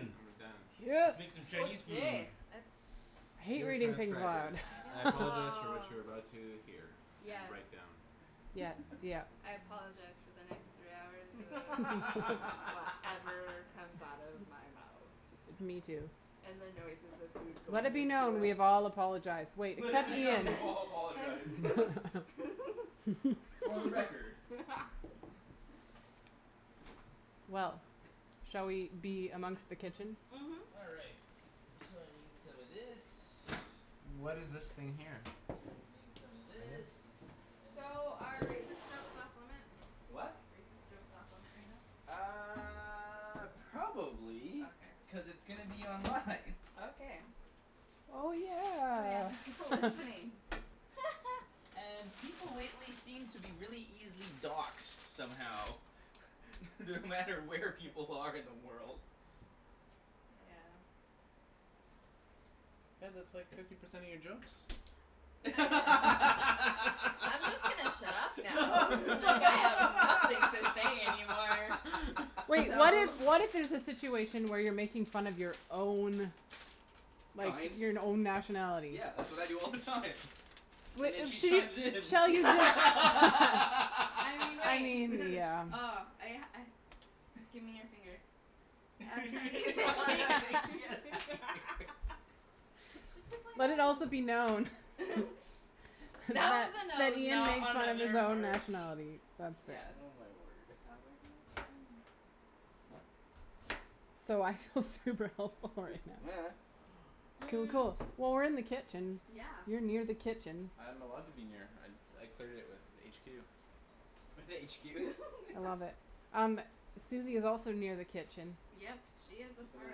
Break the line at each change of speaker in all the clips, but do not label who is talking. And we're done.
Yes!
Making Chinese food.
That's
I hate
Dear
reading things
transcribers
aloud.
I apologize for what you are about to hear and
Yes.
write down.
Yep. Yep.
I apologize for the next three hours of whatever comes out of my mouth.
Me too.
And the noises of food
Let
going
it be
into
known. We
it.
have all apologized. Wait,
Let
except
it be known.
Ian!
We've all apologized! For the record.
Well. Shall we be amongst the kitchen?
Mhm.
All right, so I need some of this.
What is this thing here?
Need some of this, I need
So,
some of
are racist
this.
jokes off limit?
The what?
Racist jokes off limit right now?
Uh Probably,
Okay.
cuz it's gonna be online.
Okay.
Oh
Oh yeah,
yeah!
there's people listening.
And people lately seem to be really easily doxed somehow. No matter where people are in the world.
Yeah.
Hey, that's like fifty percent of your jokes.
I'm just gonna shut up now. Like, I have nothing to say any more.
Wait, what if, what if there's a situation where you're making fun of your own like,
Kind?
your n- own nationality?
Yeah, that's what I do all the time. And then she
use
chimes
this.
in.
I mean,
I
wait.
mean, yeah.
oh. I I, give me your finger. Just pick my
Let it also
nose.
be known
That
That,
was a
that
nose,
Ian makes
not
fun of his
another
own
part.
nationality.
Yes.
Oh my word.
So, I feel super helpful right now. Cool, cool. Well, we're in the kitchen,
Yeah.
you're near the kitchen.
I am allowed to be near, I, I cleared it with HQ.
With HQ.
I love it. Um, Suzie is also near the kitchen.
Yep, she is a
Keepin' an
part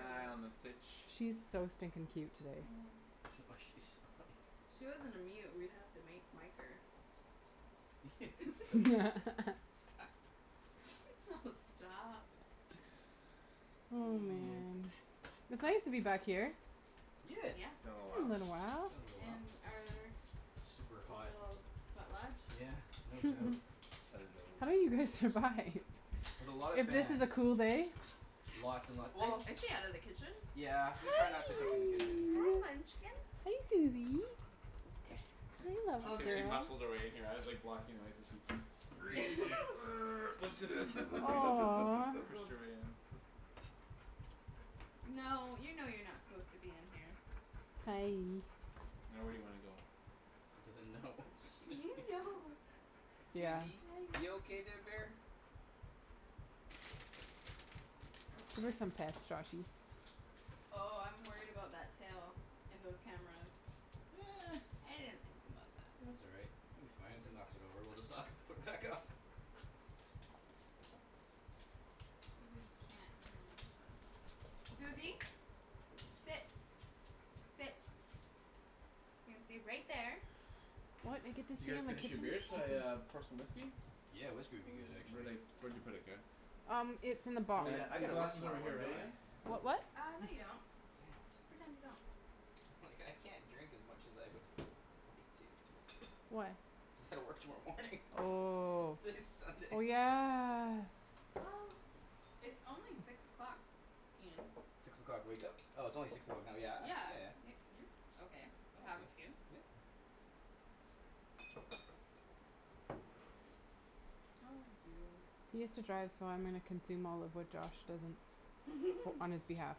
of this.
on the sitch.
She is so stinkin' cute today.
Oh she's
If she wasn't a mute, we would have to make, mic her.
Yes!
Oh stop!
Oh
Hmm.
man. It's nice to be back here.
Yeah.
Yeah.
It's been a
It's been
while.
a little while.
Been a little while.
In our
Super hot.
little sweat lodge.
Yeah, no doubt.
Hello.
How do you guys survive?
With a lot of
If this is a
fans.
cool day?
Lots and lot- well
I stay out of the kitchen.
Yeah, we try not to cook in the kitchen.
Hi, munchkin!
Hey, Suzie!
She escaped, she muscled her way in here, I was like, blocking her way, so she squeezed in err, lifted
Aw
pushed her way in.
No, you know you're not supposed to be in here.
Hi.
Now, where do you wanna go?
It doesn't know.
You know.
Suzie? You okay there, bear?
Give her some pets, Joshy.
Oh, I'm worried about that tail and those cameras. I didn't think about that.
That's all right. It will be fine. If it knocks it over, well just, like, put it back up!
But we can't Suzie! Sit! Sit! You're gonna stay right there.
What? You get to
Did you
stay
guys
on the
finish your
kitchen?
beers? Shall I uh pour some whiskey?
Yeah, whiskey would be good
Where'd
actually.
I, where'd you put it, Kara?
Um, it's in the
Oh
box.
And,
yeah, I
your
gotta
glass
work
is
tomorrow
over here,
morning,
right,
don't
Ian?
I?
What, what?
Uh, no, you don't.
Damn.
Just pretend you don't.
Like, I can't drink as much as I would, would like to.
Why?
Cuz I gotta work tomorrow morning.
Oh,
It's like
oh
Sunday.
yeah.
Well it's only six o'clock. Ian.
Six o'clock wake-up? Oh it's only six o'clock now. Yeah.
Yeah,
Yeah,
y-
yeah.
you're okay, to have a few.
Yep.
Oh you.
He has to drive so I'm gonna consume all of what Josh doesn't. Fo- on his behalf.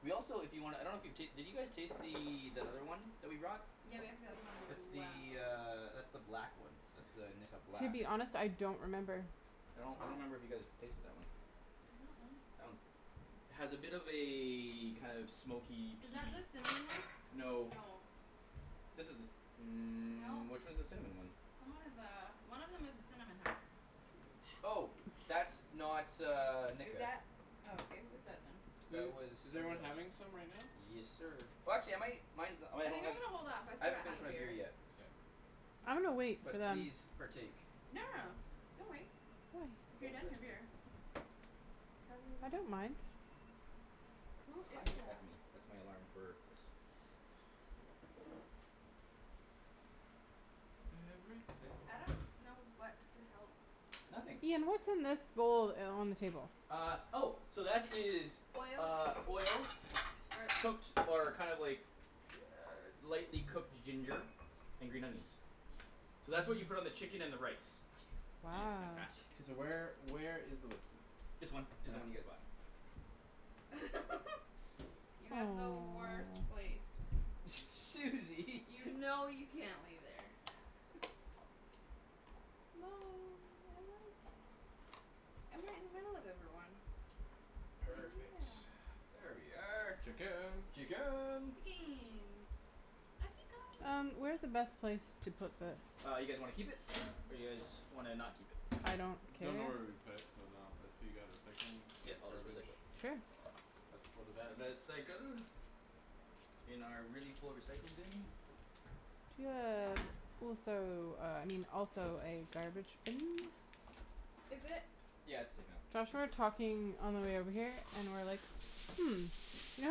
We also, if you wanna, I don't know if you ta- you guys taste the, that other one that we brought?
Yeah, we have the other one as
It's
well.
the uh that's the black one. That's the Nikka
To
Black.
be honest, I don't remember.
I don't, I don't remember if you guys tasted that one.
I don't know.
That one's, has a bit of a kind of smoky,
Is
peaty-
that the cinnamon one?
No.
No.
This is the ci- , mm,
No.
which one's the cinnamon one?
Someone has a, one of them has a cinnamon
Oh! That's not uh Nikka.
Oh okay, what's that then?
That
Who,
was
is everyone
something
having
else.
some right now?
Yes, sir. Watch it, mate! Mine's the I
I think I'm going to hold off, I still
haven't
got half
finished
a
my beer
beer.
yet.
K.
I'm gonna wait for
But
them.
please, partake.
No, no, no, don't wait. If you're done your beer, just Have it if you
I don't
want.
mind.
Who
Hi
is
there.
that?
That's me, that's my alarm for this.
Everything.
I don't know what to help
Nothing.
with.
Ian, what's in this bowl uh on the table?
Ah, oh! So that is
Oil.
uh oil,
Er
cooked or kind of like lightly cooked ginger, and green onions. So that's what you put on the chicken and the rice. Yeah, it's fantastic.
Wow.
K, so where, where is the whiskey?
This one is the one you guys bought.
You have the worst place.
Aw.
Suzie!
You know you can't lay there. No! I like it. I'm right in the middle of everyone!
Perfect.
Yeah.
There we are.
Chicken!
Chicken!
Chicken! Atika
Um, where is the best place to put this?
Uh, you guys wanna keep it? Or you guys wanna, not keep it?
I don't care?
Don't know where we would put it, so no. If you got recycling or garbage?
Sure.
It's for the best.
reh-cycle. In our really full recycle bin.
Do you
No one
have
has to know.
also uh I mean, also a garbage bin?
Is it?
Yeah, it's taken out.
Josh and I were talking on our way over here, and were like, "Hmm, you know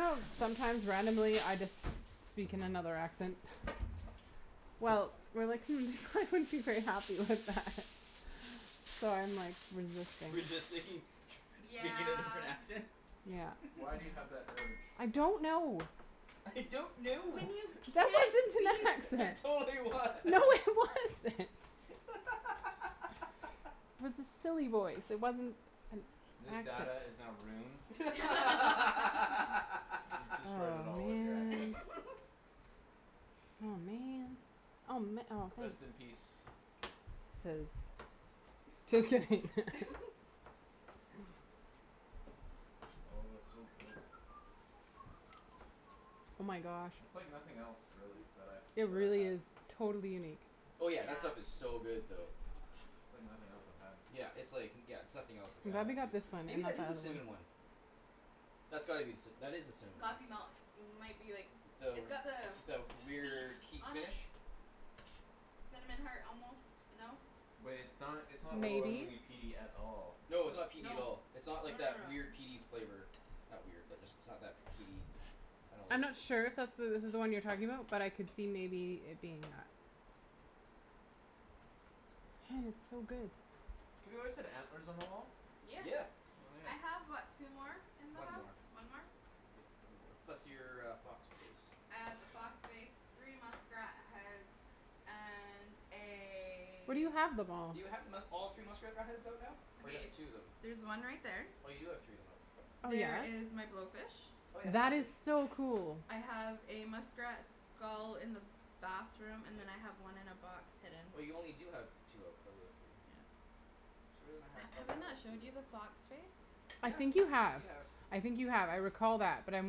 how sometimes randomly, I just speak in another accent?" Well, we were like, "Hmm, they wouldn't be very happy with that." So I'm, like, resisting.
Resisting? Speaking in a different
Yeah.
accent?
Yeah.
Why do you have that urge?
I don't know!
I don't know!
When you
That
can't
wasn't
be
an
It
accent!
yourself!
totally
No, it
was!
wasn't! It was a silly voice. It wasn't an
This
accent.
data is now ruined. You destroyed it
Aw,
all with your accents.
man! Aw, man! Oh ma- oh
Rest in
thanks.
peace.
Chiz. Just kidding!
Oh, so good.
Oh my gosh.
That's like nothing else, really, that I've,
It
that I've
really
had.
is totally unique.
Oh yeah, that stuff
Yeah.
is so good
It's
though.
awesome.
It's like nothing else I've had.
Yeah, it's like, yeah, it's nothing else like
I'm
I've
glad we
had
got this
too.
one, and
Maybe
not
that
the
is the
other
cinnamon
one.
one? That's gotta be the cinna- , that is the cinnamon
Coffey
one.
Malt, might be like, it's got the
The, the weird key
beak on it?
finish?
Cinnamon heart almost. No?
Wait, it's not, it's not
Maybe.
overwhelmingly peaty at all.
No, it's not peaty at
No.
all. It's
No,
not like
no,
that weird,
no.
peaty flavor. Not weird, but just it's not that peaty, kinda
I'm
like-
not sure if that's the, this is the one you're talking about, but I could see maybe it being that. Hey, it's so good.
Have you always had antlers on the wall?
Yeah.
Yeah.
I have what, two more? In my
One
house?
more.
One more?
Yep, one more. Plus your uh fox face.
I have a fox face, three muskrat heads and
Where do
a-
you have them all?
Do you have the musk- all three muskrat uh heads out now? Or just two of them?
There's one right there.
Oh, you do have three of them out.
Oh
There
yeah?
is my blowfish.
Oh yeah, and
That is
blowfish.
so cool.
I have a muskrat skull in the bathroom, and then I have one in a box, hidden.
Oh, you only do have two out of the three.
Yeah.
thought
Have,
you
have I
had all
not, shown
three
you
out.
the fox face?
I think you
Yeah,
have,
you have.
I think you have. I recall that but I'm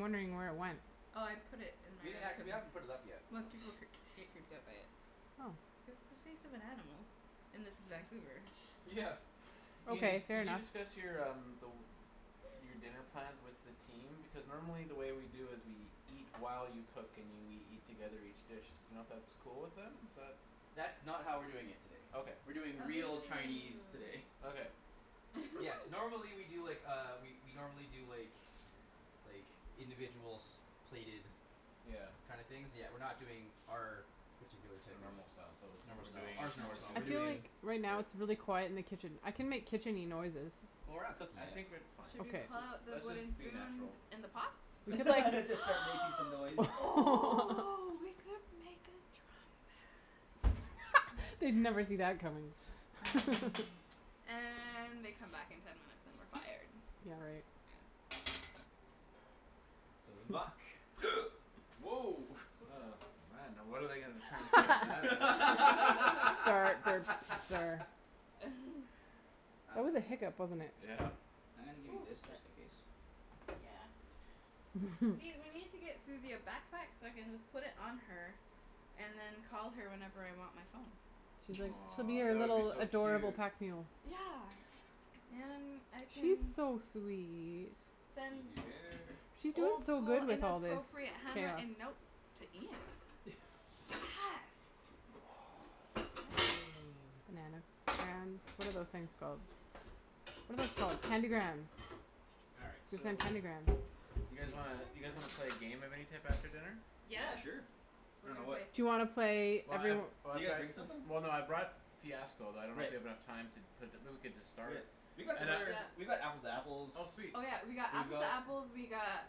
wondering where it went.
Oh, I put it in my
We didn't ha- , we haven't put it up yet, I
most
don't
people
think.
creep, get creeped out by it. Oh, its a face of an animal. And this is Vancouver.
Yeah.
Ian, did,
Okay, fair
did you
enough.
discuss your um the, your dinner plans with the team? Because normally the way we do is we eat while you cook and you, we eat together each dish. D'you know if that's cool with them? Is that
That's not how we're doing it today.
Okay.
We're doing
Oh
real Chinese
ooh.
today.
Okay.
Yes, normally we do, like, uh we we normally do, like, like, individuals, plated
Yeah.
kind of things, but we're not doing our particular
A
type of
normal style, so
normal
what're
style,
doing is
our normal
more
style,
I
we're
suited
feel
to,
like,
doing-
right now,
with-
it's really quiet in the kitchen. I can make kitchen-y noises.
Well, we're not cooking
I
yet.
think we're, it's fine.
Should we
Let's
pull
just,
out the
let's just
wooden
be
spoon
natural.
that's in the pots? We
Except
could
for-
like
Just start making some noise.
oh, we could make a drum band.
They'd never see that coming.
And, they come back in ten minutes, and we're fired.
Yeah, right.
Yeah.
Vuck. Woah!
Oh man, now what are they gonna transcribe that as?
Start, burps, slur. That was a hiccup, wasn't it?
Yeah.
I'm gonna give you
Ooh
this just in
that's-
case.
Yeah.
Mhm.
See, we need to get Suzie a backpack so I can just put it on her and then call her whenever I want my phone.
She's like, she'll be
Aw,
your
that would be
little
so
adorable
cute.
pack mule.
Yeah! And I
She's
can-
so sweet.
Then-
Susie bear.
She's doing
Old
so
school
good with all this
inappropriate hammer
chaos.
and notes to Ian. Yes!
Mm.
Nana. Grams? What are those things called? What are those called? Candy grams.
All right,
We
so-
canned candy grams.
You guys wanna, you guys wanna play a game of any type after dinner?
Yeah,
Yes!
sure. I dunno, what-
Do you wanna play
Well I've,
every-
Did
oh I've
you guys
got,
bring somethin'?
well no, I brought Fiasco but I don't know if we
Great.
have enough time to put the, but we could just start.
Great. We've got some
And I
other, we've got Apples to
Oh
Apples, we've
sweet.
Oh yeah, we got Apples To
got
Apples, we got,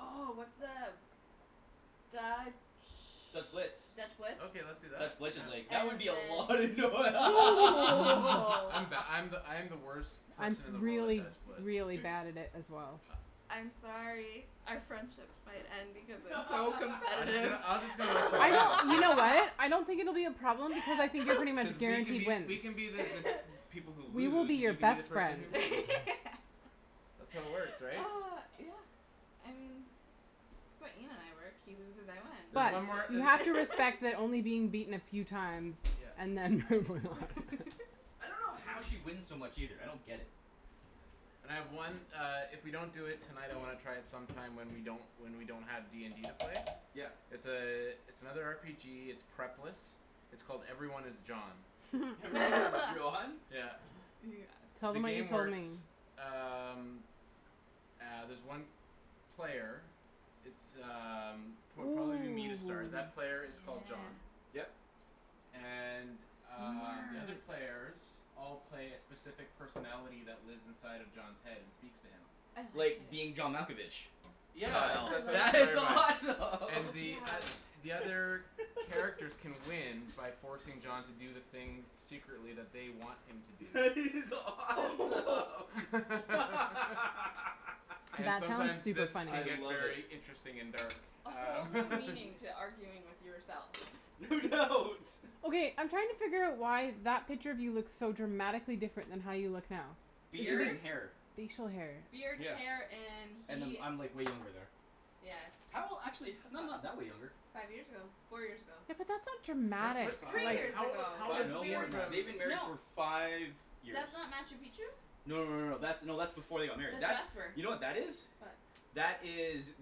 oh what's the Dutch,
Dutch Blitz.
Dutch Blitz?
Okay, let's do that,
Dutch Blitz is
yeah.
like, that would be a lot of
And
noi-
then
I'm the, I'm the, I'm the worst
I'm
person in the world at
really
Dutch Blitz
really bad at it as well.
I'm sorry, our friendships might end because I'm so
I'm just gonna,
competitive.
I'm just gonna let you
I
win,
know! You
cuz
know what? I don't think it will be a problem because I think you're pretty
cuz
much
we can
guaranteed
be,
wins.
we can be the, the people who lose, and you can be the person who wins. That's how it works, right?
Ah, yeah. I mean that's why Ian and I work, he loses, I win
There's
But,
one more
you have
uh
to respect that only being beaten a few times
Yep.
and then.
I don't know how she wins so much either. I don't get it.
And I have one uh if we don't do it tonight I wanna try it sometime when we don't, when we don't have D and D to play.
Yep.
It's a, it's another R P G, it's prep-less, its called 'Everyone Is John.'
'Everyone Is John'?
Yeah.
Tell
The
them
Yes.
what you
game
told
works
me.
um ah there's one player, it's um pro-
Ooh,
probably will be me to start, that player is called
yeah.
John.
Yep.
And um, the other
Smart.
players all play a specific personality that lives inside of John's head and speaks to him.
I love it.
Like 'Being John Malkovich.'
Yeah,
Wow,
I
that's what it's
that
like
is
inspired by.
it.
And the
Yes.
oth-
awesome!
the other characters can win by forcing John to do the thing secretly that they want him to do.
That is awesome!
And
That sounds
sometimes,
super
this
funny.
can
I
get
love it!
very interesting and dark.
A whole
Um.
new meaning to arguing with yourself.
No doubt!
Okay, I'm trying to figure out why that picture of you looks so dramatically different than how you look now.
Beard and hair.
Facial hair.
Beard, hair
Yeah,
and
and
he-
I'm, I'm like way younger there.
Yes.
How, actually h- no, not that way younger.
Five years ago. Four years ago.
Yeah, but that's not dramatic.
Three
Five,
years
How old i-
ago,
how old
five,
is
cuz
no,
we
more
Ian
were-
than that.
from
They've been married
No
for five years.
That's not Machu Picchu?
No, no, no, no. That's, no, that's before they got married.
That's
That's,
Jasper.
you know what that is?
What?
That is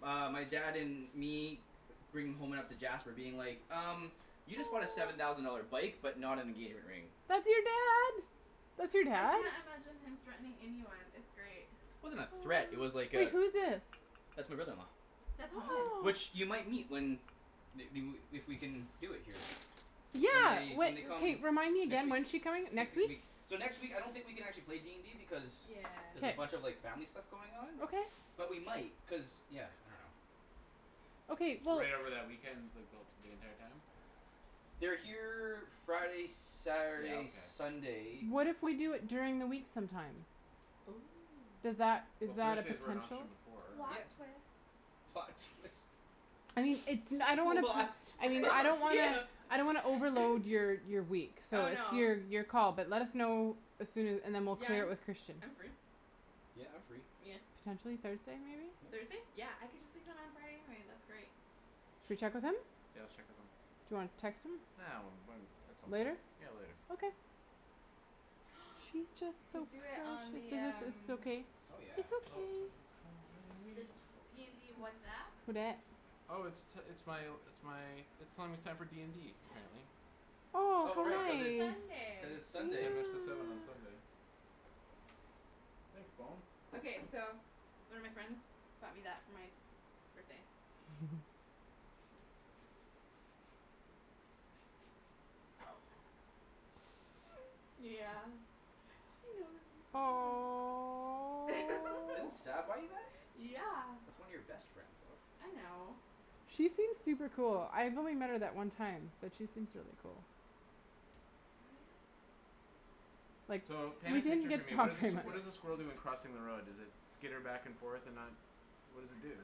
uh my dad and me bringing home Jasper being like, "Um, you just bought a seven thousand dollar bike, but not an engagement ring."
That's your dad! That's your
I
dad?
can't imagine him threatening anyone. It's great.
Wasn't a threat, it was like
Wait,
a-
who's this?
That's my brother-in-law.
That's.
Which, you might meet when they, they wou, if we can do it here. When
Yeah!
they, when they come
Remind me
next
again.
week.
When's she coming? Next week?
So next week, I don't think we can actually play D and D because
Yeah.
there's
K.
a bunch of like family stuff going on.
Okay.
But we might, cuz, yeah, I dunno.
Okay, we'll
Right over that weekend, like the wh- the entire time?
They're here Friday,
Yeah,
Saturday,
okay.
Sunday.
What if we do it during the week sometime?
Oh.
Does that, is
Well,
that a
Thursday's were an
potential?
option before, right?
Plot twist.
Plot twist.
I mean, it's no- , I don't wanna put,
Plot
I
twist!
mean, I don't
Yeah!
wanna, I don't wanna overload your your week. So,
Oh
it's
no.
your, your call but let us know as soon a- and then we'll
Yeah,
clear it
I'm,
with Christian.
I'm free.
Yeah, I'm free.
Yeah.
Potentially Thursday, maybe?
Thursday? Yeah! I get to sleep in on Friday anyway. That's great.
Should we check with him?
Yeah, let's check with him.
Do you wanna text him?
Ah, when, when, at some point.
Later?
Yeah, later.
Okay. She's just
We
so
could do it on
precious! Does
the
this, is this
um
okay?
Oh yeah.
It's okay.
Oh! Someone's calling me.
the D and D WhatsApp?
Who dat?
Oh it's t- it's my, it's my, it's telling me it's time for D and D, apparently
Oh,
Oh
how
right,
Oh,
cuz it's,
nice!
cuz it's
it's Sunday.
Ten
Sunday.
minutes til seven on Sunday. Thanks, phone!
Okay, so, one of my friends bought me that for my birthday. Yeah. She knows me pretty well.
Didn't
Aw.
Sab buy you that?
Yeah!
That's one of your best friends, love.
I know.
She seems super cool. I've only met her that one time, but she seems really cool.
Oh yeah?
Like,
So, paint a
we didn't
picture for
get
me.
to
What
talk
is a s-
very much.
what is a squirrel doing crossing the road? Does it skitter back and forth and not, what does it do?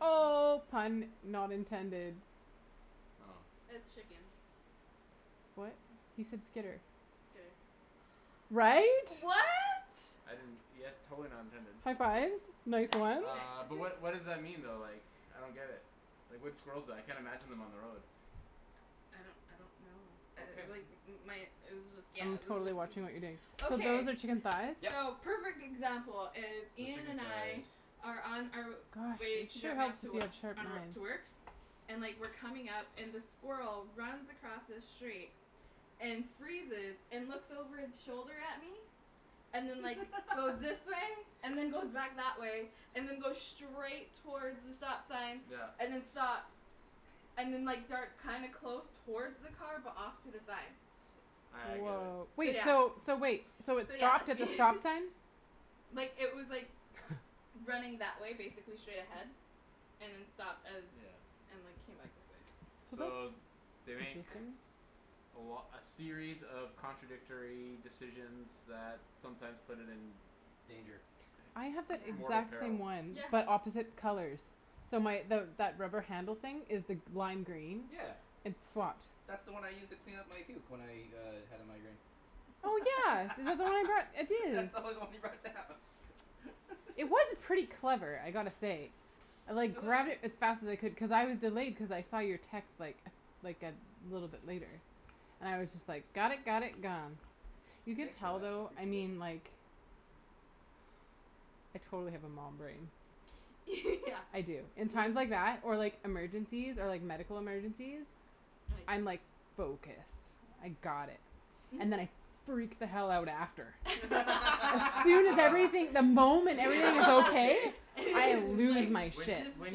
Oh, pun not intended.
Oh.
It's chicken.
What? He said skitter.
right?
Right?
I didn't, yes totally not intended.
High fives. Nice ones.
Uh but what what does that mean though like, I don't get it, like what do squirrels do, I can't imagine on them on the road.
I don't I don't know.
okay
Uh like my it was just
I'm
yeah
totally watching what you're doing. So
Okay,
those are chicken thighs?
Yep.
so perfect example is
So
Ian
chicken
and I
thighs.
are on our
Gosh,
way
it
to
sure
drop me off
helps
to
if
wo-
you have sharp
on wo-
knives.
to work. And like we're coming up and the squirrel runs across the street and freezes and looks over its shoulder at me, and then like goes this way, and then goes back that way and then goes straight towards the stop sign
Yeah.
and then stops and then like darts kinda close towards the car but off to the side.
Ah I get it.
Wow.
So
Wait
yeah.
so, so wait, so it
So yeah
stopped
that's
at the
me
stop sign?
Like it was like, running that way basically straight ahead and then stopped as
Yeah.
and like came back this way.
So
So
that's
they make
interesting.
a lo- a series of contradictory decisions that sometimes put it in
Danger.
I have
So
that
yeah.
mortal
exact
peril.
same one
Yeah.
but opposite colors. So my the that rubber handle thing is the lime green,
Yeah.
it
That's the one I used to clean up my puke when I uh had a migraine.
Oh yeah, is that the one I brought, it is.
That's the only one you brought down.
It was pretty clever, I gotta say. I like grabbed it as fast as I could cuz I was delayed cuz I saw your text like like a little bit later and I was just like got it, got it, gone. You can
Thanks for
tell
that, I
though, I
appreciate it.
mean like, I totally have a mom brain.
Yeah.
I do. In times like that, or like emergencies, or like medical emergencies, I'm like focused, I got it. And then I freak the hell out after. As soon as
Well
everything, the
If
moment
if
everything is
everything is
okay,
okay.
I lose
like
my
When
shit.
just
when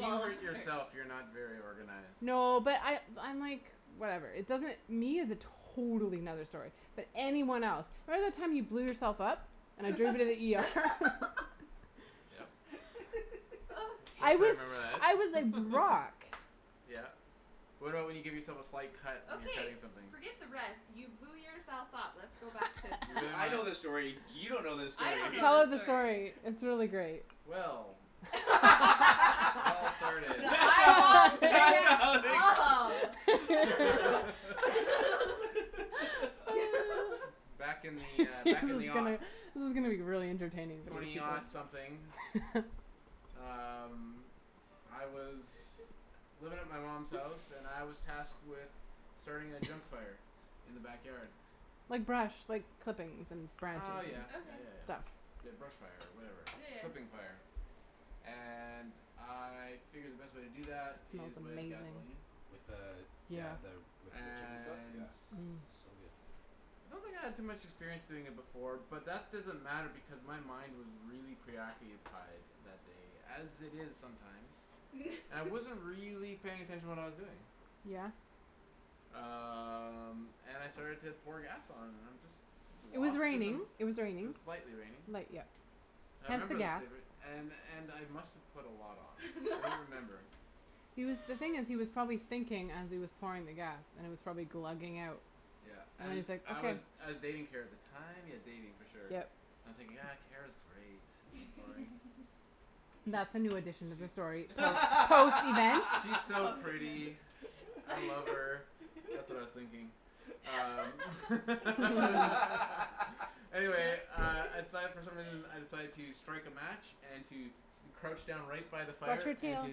you hurt yourself you're not very organized.
No but I I'm like, whatever, it doesn't, me is a totally another story, but anyone else. Remember the time you blew yourself up, and I
Yeah
drove you to the ER?
Yep. Of
I
course I
was
Okay.
remember that.
I was like rock.
Yeah. What about when you give yourself a slight cut when you're cutting
Okay,
something?
forget the rest. You blew yourself up. Let's go back to
You
that.
really
Yeah, I
wanna
know this story, you don't know this
I
story.
don't
Tell
know this
us the
story.
story, it's really great.
Well It all started
The eyeballs say it all.
Back in the, uh,
This
back in
is
the
gonna this is gonna be really entertaining
Twenty something.
people.
Um I was living at my mom's house and I was tasked with starting a junk fire in the backyard.
Like brush, like clippings and branches
Oh
and
yeah, yeah
Okay.
yeah
and
yeah.
stuff.
The brush fire or whatever,
Yeah yeah.
clipping fire. And I figured the best way to do
It
that
smells
is with
amazing.
gasoline.
With the,
Yeah.
yeah the with the chicken stuff?
And
Yeah,
Mm.
so good.
I don't think I had too much experience doing it before but that doesn't matter because my mind was really preoccupied that day, as it is sometimes. And I wasn't really paying attention to what I was doing.
Yeah.
Um and I started to pour gas on and I'm just
It was
lost in the
raining, it was
It was
raining.
lightly raining.
Light yep.
I
Hence the
remember this
gas.
day and and I must've put a lot on, I don't remember.
He was the thing is he was probably thinking as he was pouring the gas and it was probably glugging out
Yeah
and
and
he's like,
I
"okay."
was I was dating Kara at the time, yeah dating for sure.
Yep.
And I'm thinking, ah Kara's great
That's a new addition
She's
to
she's
this story.
she's
post event?
She's so
Post event.
pretty. I love her, that's what I was thinking. Um Anyway uh I decided for some reason I decided to strike a match and to crouch down right by the
Watch
fire
your
and
tail,
to